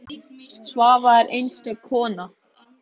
Svava er einstök kona.